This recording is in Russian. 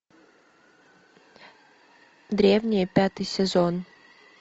древние пятый сезон